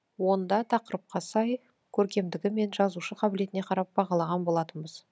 онда тақырыпқа сай көркемдігі мен жазушы қабілетіне қарап бағалаған болатынбыз